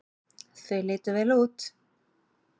Þau litu vel út.